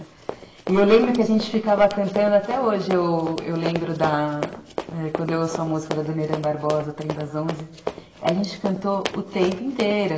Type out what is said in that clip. E eu lembro que a gente ficava cantando até hoje, eu lembro da... Quando eu ouço a música da Dona Irã Barbosa, Trem das Onze, a gente cantou o tempo inteiro.